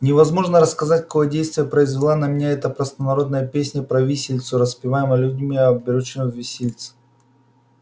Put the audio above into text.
невозможно рассказать какое действие произвела на меня эта простонародная песня про виселицу распеваемая людьми обречёнными виселице